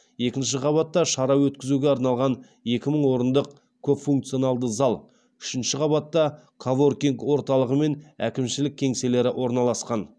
екінші қабатта шара өткізуге арналған екі мың орындық көпфункционалды зал үшінші қабатта коворкинг орталығы мен әкімшілік кеңселер орналасқан